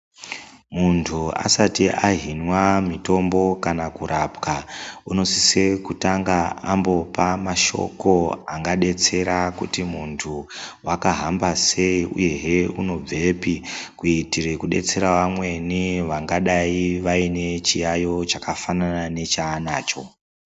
Muntu asati ahinwa mutombo kana kurapwa unosise kutanga ambopa mashoko angadetsera kuti muntu wakahamba sei uyehe unobvepi kuitire kudetsera vamweni vangadai vaine chiyaiyo chakafanana nechaanacho.